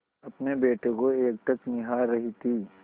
अपने बेटे को एकटक निहार रही थी